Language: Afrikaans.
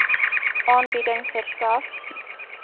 aanbieding verskaf